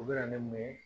U bɛ na ne mun ye